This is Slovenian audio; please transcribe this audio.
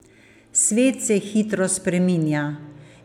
Svet se hitro spreminja.